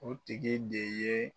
O tigi de ye